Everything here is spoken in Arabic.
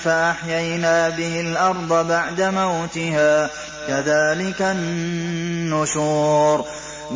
فَأَحْيَيْنَا بِهِ الْأَرْضَ بَعْدَ مَوْتِهَا ۚ كَذَٰلِكَ النُّشُورُ